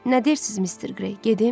Nə deyirsiz Mister Qrey, gedim?